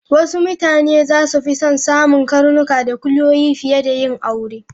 Wasu mutane za su fi son samun karnuka da kuliyoyi fiye da yin aure.